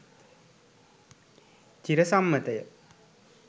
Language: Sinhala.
චිර සම්මත ය.